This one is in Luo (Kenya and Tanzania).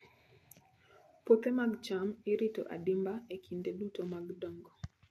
Puothe mag cham irito adimba e kinde duto mag dongo.